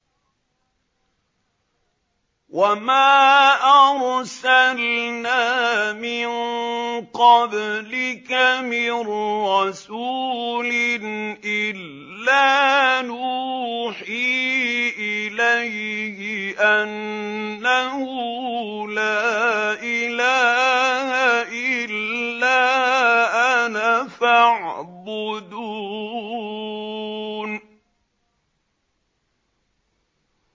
وَمَا أَرْسَلْنَا مِن قَبْلِكَ مِن رَّسُولٍ إِلَّا نُوحِي إِلَيْهِ أَنَّهُ لَا إِلَٰهَ إِلَّا أَنَا فَاعْبُدُونِ